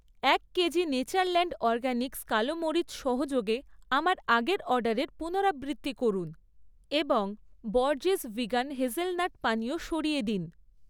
এক KG Natureland Organics কালো মরিচ সহযোগে আমার আগের অর্ডারের পুনরাবৃত্তি করুন এবং বরজেস ভিগান হেজেলনাট পানীয় সরিয়ে দিন।